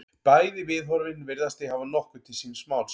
Bæði viðhorfin virðast því hafa nokkuð til síns máls.